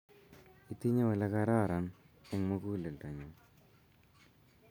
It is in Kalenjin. itinye ole kararan eng' muguledo nyun